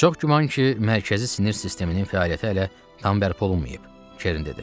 Çox güman ki, mərkəzi sinir sisteminin fəaliyyəti hələ tam bərpa olunmayıb, Kerin dedi.